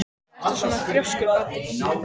Af hverju ertu svona þrjóskur, Baddi?